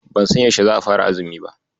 Ban san yaushe za'a fara azumi ba.